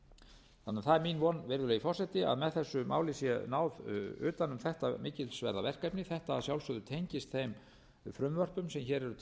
það er mín von virðulegi forseti að með þessu máli sé náð utan um þetta mikilsverða verkefni þetta að sjálfsögðu tengist þeim frumvörpum sem hér eru til